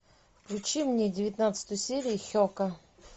включи мне девятнадцатую серию хека